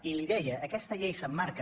i li deia que aquesta llei s’emmarca